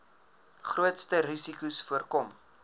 grootste risikos voorkom